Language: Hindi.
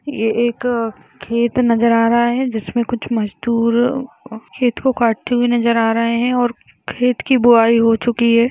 ये एक खेत नजर आ रहा है। जिसमे कुछ मजदूर खेत को काटते हुए नजर आ रहे हैं और खेत की बुआई हो चुकी है।